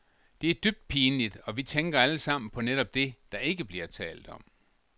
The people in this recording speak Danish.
Det er dybt pinligt, og vi tænker alle sammen på netop det, der ikke bliver talt om.